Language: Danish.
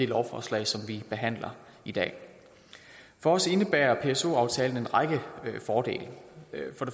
lovforslag som vi behandler i dag for os indebærer pso aftalen en række fordele